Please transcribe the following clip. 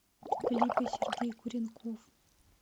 клипы сергей куренков